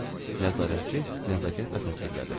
Nəzarətçi nəzakətlə təsdiqlədi.